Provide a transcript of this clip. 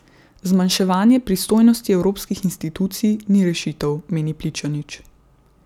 Zmanjševanje pristojnosti evropskih institucij ni rešitev, meni Pličanič.